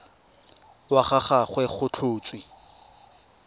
wa ga gagwe go tlhotswe